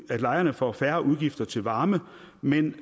at lejerne får færre udgifter til varme men